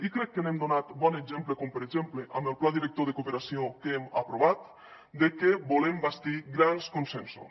i crec que n’hem donat bon exemple com per exemple amb el pla director de cooperació que hem aprovat de que volem bastir grans consensos